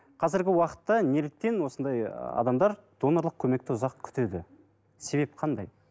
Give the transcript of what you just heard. қазіргі уақытта неліктен осындай ы адамдар донорлық көмекті ұзақ күтеді себеп қандай